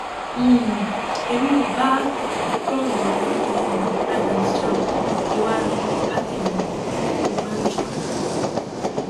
um èmi ò bá gani um adams jà ọ ìwà rẹ ni kò bá tèmi mu ọbànjọ